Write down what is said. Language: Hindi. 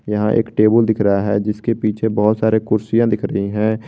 यहां एक टेबुल दिख रहा है जिसके पीछे बहुत सारे कुर्सियां दिख रही हैं।